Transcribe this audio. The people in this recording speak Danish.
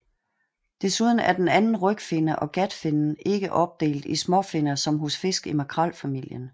Desuden er den anden rygfinne og gatfinnen ikke opdelt i småfinner som hos fisk i makrelfamilien